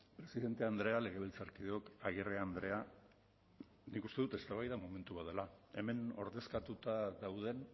presidente andrea legebiltzarkideok agirre andrea nik uste dut eztabaida momentua dela hemen ordezkatuta dauden